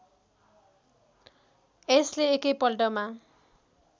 यसले एकै पल्टमा